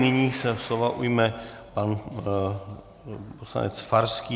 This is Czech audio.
Nyní se slova ujme pan poslanec Farský.